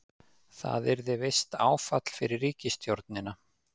Það yrði visst áfall fyrir ríkisstjórnina